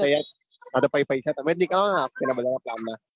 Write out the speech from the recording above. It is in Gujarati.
હા તો હા તો પહી પૈસા તમે જ નીકળવાના પેલા ભાડા ના ચાર ના.